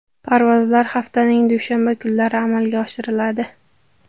Parvozlar haftaning dushanba kunlari amalga oshiriladi.